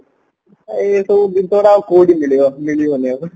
ଏଇ ସବୁ ଜିନିଷଟା କୋଉଠ ମିଳିବ କୋଉଠି ମିଳିବନି ଆଉ